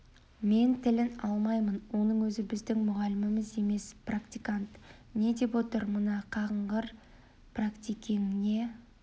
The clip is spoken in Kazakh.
мен тілін алмаймын оның ол біздің мұғаліміміз емес практикант не деп отыр мына қағынғыр піректикең не